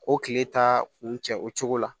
O kile taa kun cɛ o cogo la